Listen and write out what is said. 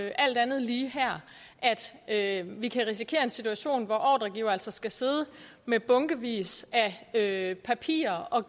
alt andet lige at vi kan risikere en situation hvor ordregivere altså skal sidde med bunkevis af papirer og